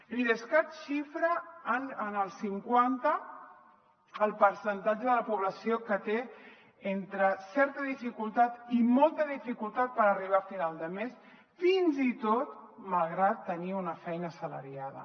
l’idescat xifra en el cinquanta el percentatge de la població que té entre certa dificultat i molta dificultat per arribar a final de mes fins i tot malgrat tenir una feina assalariada